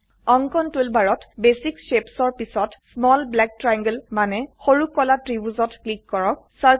অঙ্কন টুলবাৰত basic shapes ৰ পিছত স্মল ব্লেক ট্ৰায়াংলে মানে সৰু কলা ত্ৰিভুজত ক্লিক কৰক